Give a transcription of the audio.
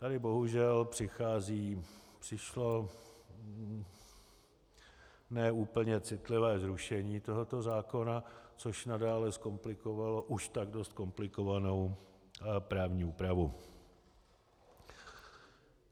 Tady bohužel přichází, přišlo ne úplně citlivé zrušení tohoto zákona, což nadále zkomplikovalo už tak dost komplikovanou právní úpravu.